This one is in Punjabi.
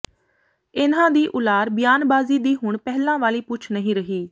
ਇਨ੍ਹਾਂ ਦੀ ਉਲਾਰ ਬਿਆਨਬਾਜ਼ੀ ਦੀ ਹੁਣ ਪਹਿਲਾਂ ਵਾਲੀ ਪੁੱਛ ਨਹੀਂ ਰਹੀ